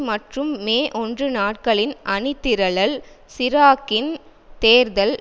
மற்றும் மேஒன்று நாட்களின் அணிதிரளல் சிராக்கின் தேர்தல்